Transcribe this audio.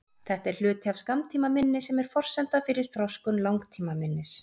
Þetta er hluti af skammtímaminni sem er forsenda fyrir þroskun langtímaminnis.